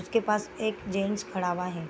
उसके पास एक जेंट्स खड़ा हुआ है।